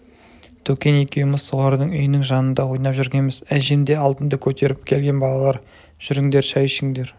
төкен екеуіміз солардың үйінің жанында ойнап жүргенбіз әжем де алтынды көтеріп келген балалар жүріңдер шай ішіңдер